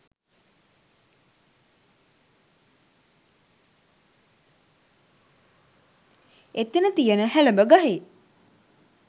එතන තියෙන හැලඹ ගහේ